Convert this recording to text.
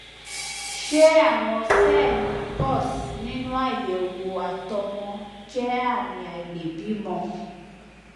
ṣé àwọn sẹẹli pus nínú àyẹwò àtọmọ jẹ ààmì àìlèbímọ